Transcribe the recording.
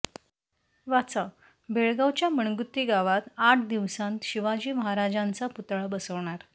वाचाः बेळगावच्या मणगुत्ती गावात आठ दिवसांत शिवाजी महाराजांचा पुतळा बसवणार